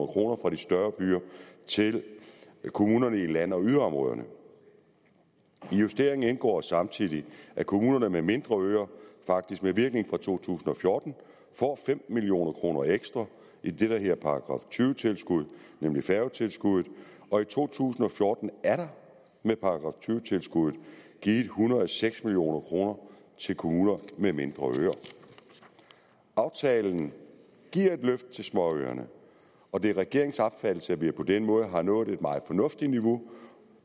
kroner fra de større byer til kommunerne i land og yderområderne i justeringen indgår samtidig at kommuner med mindre øer faktisk med virkning fra to tusind og fjorten får fem million kroner ekstra i det der hedder § tyve tilskud nemlig færgetilskuddet og i to tusind og fjorten er der med § tyve tilskuddet givet en hundrede og seks million kroner til kommuner med mindre øer aftalen giver et løft til småøerne og det er regeringens opfattelse at vi på den måde har nået et meget fornuftigt niveau